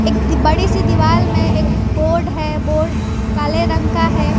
एक बड़ी सी दीवाल में एक बोर्ड है बोर्ड काले रंग का है।